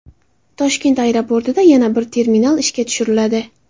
Toshkent aeroportida yana bir terminal ishga tushiriladi.